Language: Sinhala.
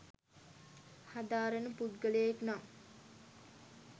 හදාරන පුද්ගලයෙක් නම්